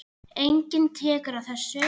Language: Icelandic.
Enginn tekur á þessu.